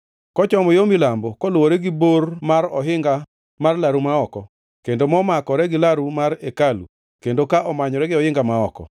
Kochomo yo milambo, koluwore gi bor mar ohinga mar laru ma oko, kendo momakore gi laru mar hekalu kendo ka omanyore gi ohinga ma oko,